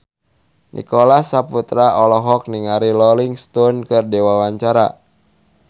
Nicholas Saputra olohok ningali Rolling Stone keur diwawancara